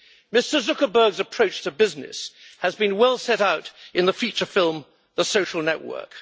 Mr Zuckerberg's approach to business has been well set out in the feature film The Social Network